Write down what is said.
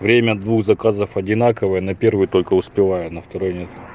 время двух заказов одинаковое на первый только успеваю на второй нет